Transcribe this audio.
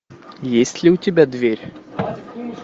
есть ли у тебя дверь